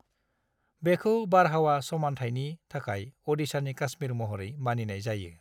बेखौ बारहावा समानथायनि थाखाय अडिशानि काश्मीर महरै मानिनाय जायो।